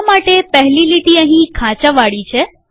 શા માટે પહેલી લીટી અહીં ખાંચાવાળી છે